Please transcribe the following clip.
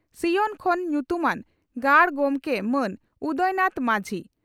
ᱥᱤᱭᱚᱛ ᱠᱷᱚᱱ ᱧᱩᱛᱩᱢᱟᱱ ᱜᱟᱹᱷᱩᱲ ᱜᱚᱢᱠᱮ ᱢᱟᱱ ᱩᱫᱟᱭᱱᱟᱛᱷ ᱢᱟᱹᱡᱷᱤ